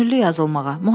Könüllü yazılmağa.